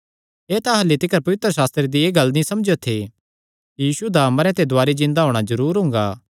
एह़ तां अह्ल्ली तिकर पवित्रशास्त्रे दी एह़ गल्ल नीं समझेयो थे कि यीशुये दा मरेयां ते दुवारी जिन्दा होणा जरूर हुंगा